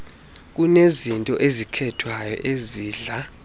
kunezinto ezikhethwayo ezidla